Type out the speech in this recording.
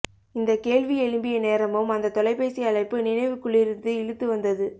இந்த கேள்வி எழும்பிய நேரமும் அந்த தொலைபேசி அழைப்பு நினைவுக்குள்ளிருந்து இழுத்து வந்தது